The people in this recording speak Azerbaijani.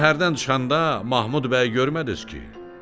Şəhərdən çıxanda Mahmud bəyi görmədiniz ki?